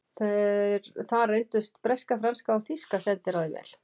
Þar reyndust breska, franska og þýska sendiráðið vel.